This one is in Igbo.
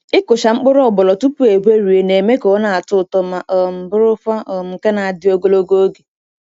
Ịkụcha mkpụrụ ogbono tupu egwerie na-eme ka ọ na-atọ ụtọ ma um bụrụkwa um nke na-adị ogologo oge.